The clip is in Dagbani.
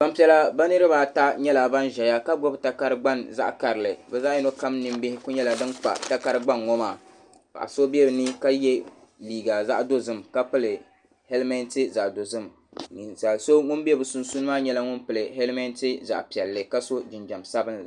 Gbanpiɛla bi niriba ata nyɛla ban ʒɛya ka gbubi takari gbaŋ zaɣa karili bi zaɣa yino kam ninbihi ku nyɛla din kpa takari gbaŋ ŋɔ maa paɣa so bɛ bi ni ka yɛ liiga zaɣa dozim ka pili helimenti zaɣa dozim ninsali so ŋun bɛ bi sunsuuni maa nyɛla ŋun pili helimenti zaɣa piɛlli ka so jinjam sabinli.